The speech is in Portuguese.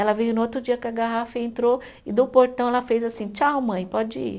Ela veio no outro dia com a garrafa e entrou e do portão ela fez assim, tchau mãe, pode ir.